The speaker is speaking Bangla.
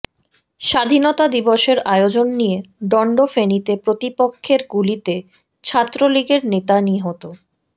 স্বাধীনতা দিবসের আয়োজন নিয়ে দ্বন্দ্ব ফেনীতে প্রতিপক্ষের গুলিতে ছাত্রলীগের নেতা নিহত